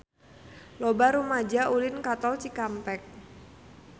Loba rumaja ulin ka Tol Cikampek